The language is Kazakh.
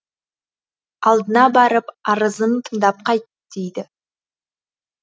алдына барып арызын тыңдап қайт дейді